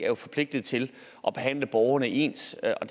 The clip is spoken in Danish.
jo forpligtet til at behandle borgerne ens og